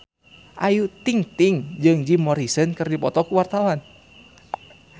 Ayu Ting-ting jeung Jim Morrison keur dipoto ku wartawan